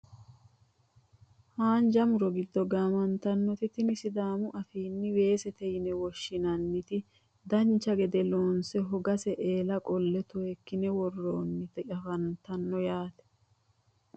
haanja muro giddo gaamantannoti tini sidaamu afiinni weesete yine woshshinanniti danche gede loonse hoggase eela qolle toyeekkine worroonnita anafannite yaate